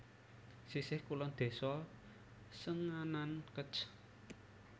Sisih kulon Desa Senganan Kec